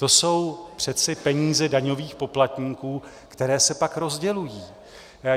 To jsou přece peníze daňových poplatníků, které se pak rozdělují.